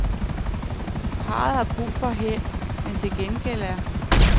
Parret har brug for held, men til gengæld er